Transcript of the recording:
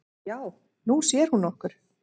"""Já, Nú sér hún okkur"""